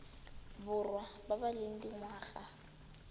borwa ba ba leng dingwaga